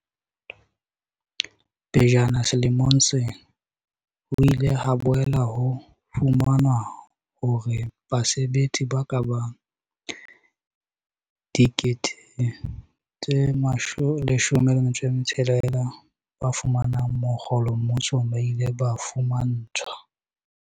Pejana selemong sena, ho ile ha boela ho fumanwa hore basebetsi ba kabang 16 000 ba fumanang mokgolo mmusong ba ile ba fuma ntshwa